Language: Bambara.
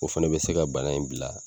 O fana bɛ se ka bana in bila